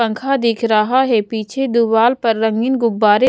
पंखा दिख रहा है पीछे दुवाल पर रंगीन गुब्बारे --